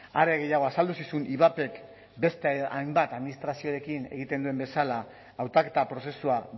are gehiago azaldu zizun ivapek beste hainbat administraziorekin egiten duen bezala hautaketa prozesua